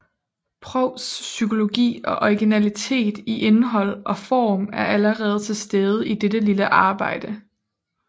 Prousts psykologi og originalitet i indhold og form er allerede til stede i dette lille arbejde